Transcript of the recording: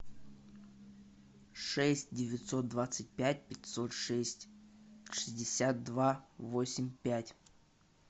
шесть девятьсот двадцать пять пятьсот шесть шестьдесят два восемь пять